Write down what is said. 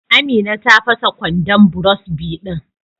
Amina ta fasa kwandon burosbi din.